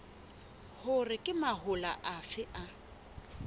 hore ke mahola afe a